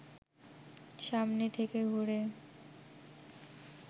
সামনে থেকে ঘুরে